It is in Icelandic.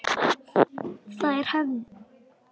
Það er hefð!